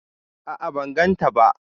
A'a ban gan ta ba